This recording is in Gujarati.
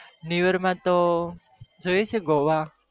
New year તો જવું છે goa